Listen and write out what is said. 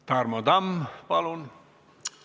Tarmo Tamm, palun!